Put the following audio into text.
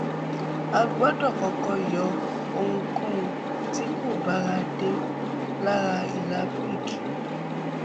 a gbọdọ kọkọ yọ ohunkóun tí kò báradé lára ìlà picc